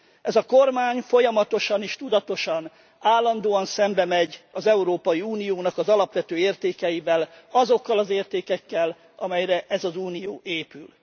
Ez a kormány folyamatosan és tudatosan állandóan szembemegy az Európai Uniónak az alapvető értékeivel, azokkal az értékekkel, amelyekre ez az Unió épül.